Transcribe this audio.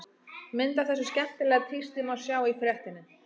Mynd af þessu skemmtilega tísti má sjá í fréttinni.